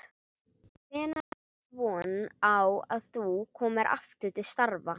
Hvenær áttu von á því að þú komir aftur til starfa?